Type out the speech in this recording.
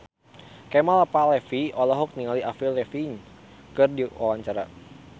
Kemal Palevi olohok ningali Avril Lavigne keur diwawancara